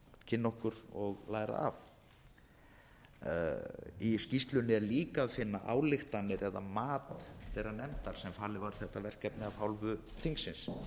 kynna okkur og læra af í skýrslunni er líka að finna ályktanir eða mat þeirrar nefndar sem falið var þetta verkefni af hálfu þingsins